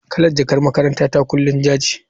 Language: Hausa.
Kalar jakar makarantata kullum ja ce.